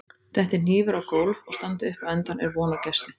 Detti hnífur á gólf og standi upp á endann er von á gesti.